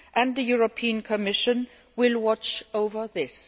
The European Commission will watch over this.'